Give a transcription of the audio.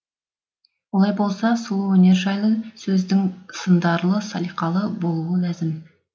олай болса сұлу өнер жайлы сөздің сындарлы салиқалы болуы ләзім